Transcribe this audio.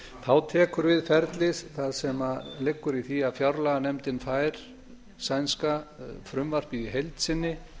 þá tekur við ferli sem liggur í því að fjárlaganefndin fær sænska frumvarpið í heild sinni